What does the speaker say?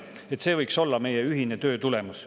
Nii et see võiks olla meie ühise töö tulemus.